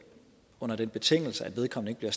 under den betingelse at vedkommende